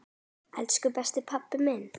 Elsku besti pabbi minn.